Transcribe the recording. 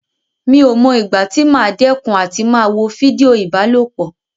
Mi ò mọ ìgbà tí màá dẹ́kun àti máa wo fídíò ìbálòpọ̀.